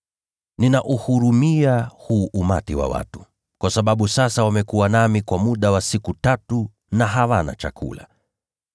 “Ninauhurumia huu umati wa watu, kwa sababu sasa wamekuwa nami kwa muda wa siku tatu na hawana chakula.